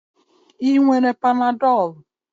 Ị nwere panadol?